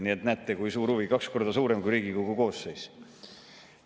Nii et näete, kui suur huvi, kaks korda suurem kui Riigikogu koosseis.